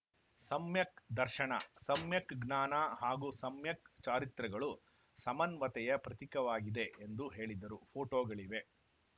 ಸಮ್ಯಕ್‌ ದರ್ಶನ ಸಮ್ಯಕ್‌ ಜ್ಞಾನ ಹಾಗೂ ಸಮ್ಯಕ್‌ ಚಾರಿತ್ರ್ಯಗಳು ಸಮನ್ವತೆಯ ಪ್ರತೀಕವಾಗಿದೆ ಎಂದು ಹೇಳಿದರು ಪೋಟೋಗಳಿವೆ